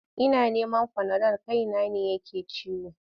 Ina neman fanadol kaina ne yake ciwo.